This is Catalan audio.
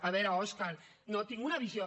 a veure òscar no tinc una visió